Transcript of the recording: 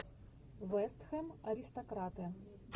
вест хэм аристократы